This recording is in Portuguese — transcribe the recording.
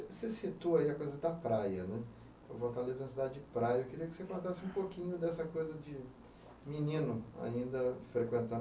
citou aí a coisa da praia né. Eu vou voltar ali na cidade de praia e eu queria que você contasse um pouquinho dessa coisa de menino ainda frequentar